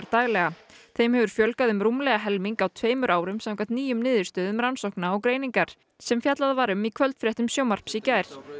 daglega þeim hefur fjölgað um rúmlega helming á tveimur árum samkvæmt nýjum niðurstöðum Rannsókna og greiningar sem fjallað var um í kvöldfréttum sjónvarps í gær